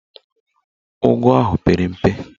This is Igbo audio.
Ụgụ ahụ pere mpe